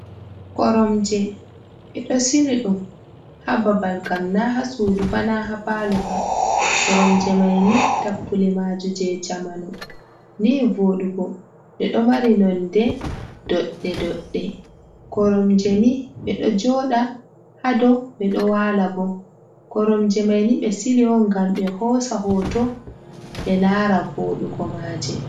Koromje, ɓe ɗo sili ɗum, haa babal ngam naa haa suudu ba, naa haa paalo ba, koromje mayni tappule maaje jey jamanu, nii vooɗugo, ɗe ɗon mari noone doɗɗe-doɗɗe . koromje ni ɓe ɗo jooɗa haa dow, ɓe ɗo waala boo, Koromje mayni ɓe sili on ngam ɓe hoosa hooto ɓe laara vooɗugo maaje.